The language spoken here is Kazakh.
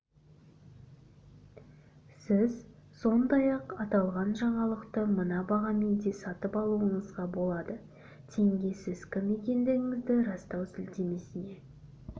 сіз сондай-ақ аталған жаңалықты мына бағамен де сатып алуыңызға болады теңге сіз кім екендігіңізді растау сілтемесіне